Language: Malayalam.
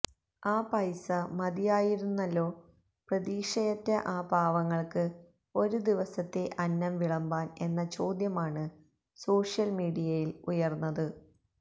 ആ പൈസ മതിയായിരുന്നല്ലോ പ്രതീക്ഷയറ്റ ആ പാവങ്ങള്ക്ക് ഒരു ദിവസത്തെ അന്നം വിളമ്പാന് എന്ന ചോദ്യമാണ് സോഷ്യല് മീഡിയയില് ഉയര്ന്നത്